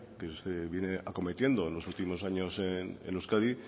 que se viene acometiendo en los últimos años en euskadi